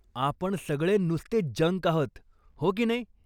आपण सगळे नुसते जंक आहोत, हो किनई ?